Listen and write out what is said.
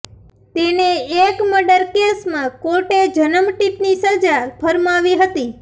તેને એક મર્ડર કેસમાં કોર્ટે જનમટીપની સજા ફરમાવી હતી